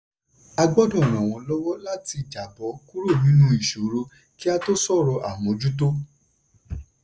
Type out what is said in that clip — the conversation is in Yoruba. a gbọ́dọ̀ ran wọ́n lọ́wọ́ láti jàbọ́ kúrò nínú ìsòro kí á tó sọ̀rọ̀ àmójútó.